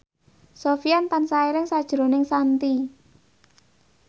Sofyan tansah eling sakjroning Shanti